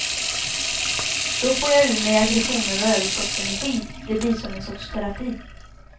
Då får jag ur mig aggressioner och överskottsenergi, det blir som en sorts terapi.